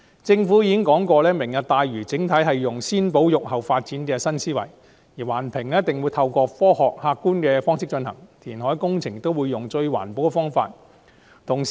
政府已經表明，"明日大嶼"整體使用"先保育、後發展"的新思維，環評會透過科學客觀的方式進行，填海工程也會使用最環保的方法。